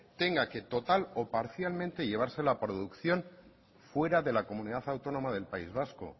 tenga que total o parcialmente llevarse la producción fuera de la comunidad autónoma del país vasco